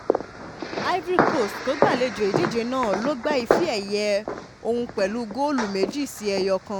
ivory coast tó gbàlejò ìdíje náà ló gba ife ẹ̀yẹ ọ̀hún pẹ̀lú góòlù méjì sí ẹ̀yọ̀kan